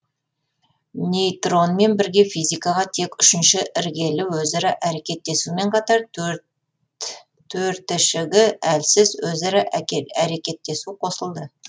нейтронмен бірге физикаға тек үшінші іргелі өзара әрекеттесумен катар төртішігі әлсіз өзара әкел әрекеттесу қосылды